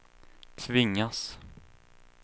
tvingas